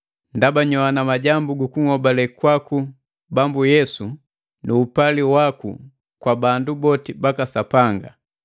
ndaba nyoana majambu gu kuhobale kwaka Bambu Yesu nu upali waku kwa bandu boti baka Sapanga.